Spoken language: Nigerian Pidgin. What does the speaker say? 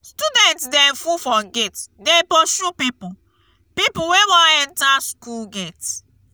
student dem full for gate dey pursue pipu pipu wey wan enta skool gate.